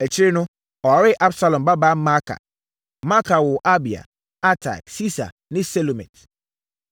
Akyire no, ɔwaree Absalom babaa Maaka. Maaka woo Abia, Atai, Sisa ne Selomit.